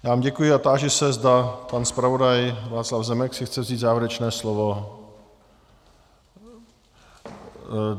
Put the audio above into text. Já vám děkuji a táži se, zda pan zpravodaj Václav Zemek si chce vzít závěrečné slovo.